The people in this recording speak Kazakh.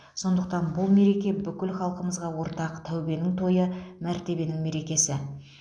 сондықтан бұл мереке бүкіл халқымызға ортақ тәубенің тойы мәртебенің мерекесі